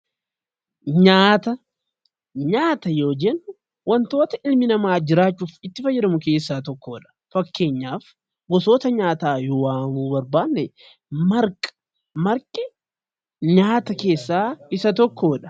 Nyaata yoo jennu wantoota dhalli namaa jiraachuuf itti fayyadamu keessaa tokkodha. Fakkeenyaaf gosoota nyaataa yoo waamuu barbaanne marqi nyaata keessaa Isa tokkodha.